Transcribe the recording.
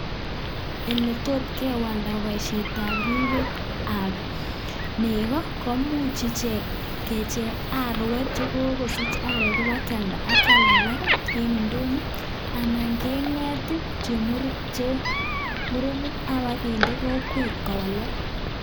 Eletot kewalda boishetab ribetab nekoo komuch ichek kecheng arek chekokisich arek ibakialda ak kial alak en indonyo anan keng'et chemurenik ak bakinde kokwet kowalak.